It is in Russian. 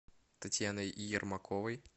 татьяной ермаковой